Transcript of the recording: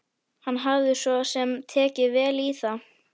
Hann hafði svo sem tekið vel í það.